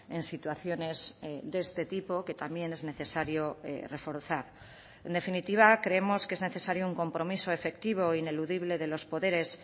en situaciones de este tipo que también es necesario reforzar en definitiva creemos que es necesario un compromiso efectivo ineludible de los poderes